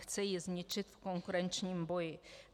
Chce ji zničit v konkurenčním boji.